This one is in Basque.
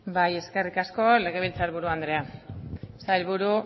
bai eskerri asko legebiltzarkiburu andrea sailburu